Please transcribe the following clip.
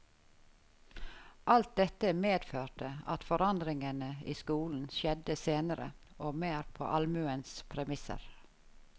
Alt dette medførte at forandringene i skolen skjedde senere, og mer på allmuens premisser.